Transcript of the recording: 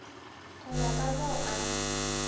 go ya ka mo a